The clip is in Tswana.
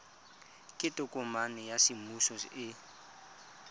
ke tokomane ya semmuso e